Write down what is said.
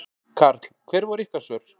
Karl: Hver voru ykkar svör?